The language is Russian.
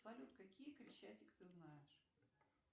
салют какие крещатик ты знаешь